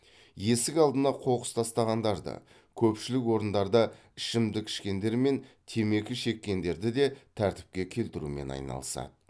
есік алдына қоқыс тастағандарды көпшілік орындарда ішімдік ішкендер мен темекі шеккендерді де тәртіпке келтірумен айналысады